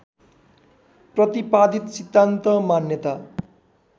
प्रतिपादित सिद्धान्त मान्यता